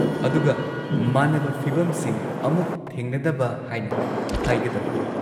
ꯑꯗꯨꯒ, ꯃꯥꯟꯅꯕ ꯐꯤꯚꯝꯁꯤꯡ ꯑꯃꯨꯛ ꯊꯦꯡꯅꯗꯕ ꯍꯥꯏꯅ ꯍꯥꯏꯒꯗꯕꯅꯤ꯫